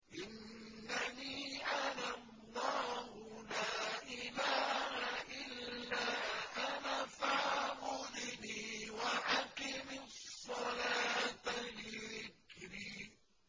إِنَّنِي أَنَا اللَّهُ لَا إِلَٰهَ إِلَّا أَنَا فَاعْبُدْنِي وَأَقِمِ الصَّلَاةَ لِذِكْرِي